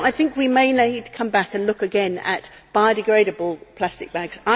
So I think we may need to come back and look again at biodegradable plastic bags.